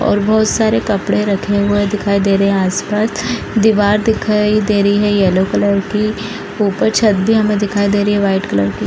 और बहुत सारे कपड़े रखे हुए दिखाई दे रहे हैं आस-पास | दिवार दिखाई दे रही है येलो कलर की ऊपर छत भी हमें दिखाई दे रही है वाइट कलर की |